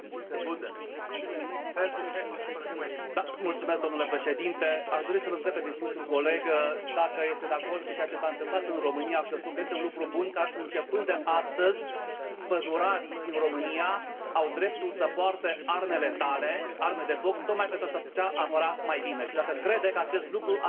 Domnule președinte, aș dori să l întreb pe distinsul coleg dacă este de acord cu ceea ce s a întâmplat în România și eu spun că este un lucru bun că începând de astăzi pădurarii din România au dreptul să poarte arme letale, arme de foc, tocmai pentru se putea apăra mai bine și dacă crede că acest lucru ar putea fi extins și la nivelul celorlalți pădurari din Uniunea